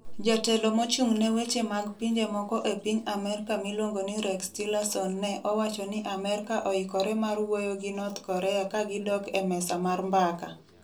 Jatelo mochung'ne weche mag pinje moko e piny Amerka miluongo ni Rex Tillerson Ne owacho ni Amerka oikore mar wuoyo gi North Korea ka gidok e mesa mar mbaka.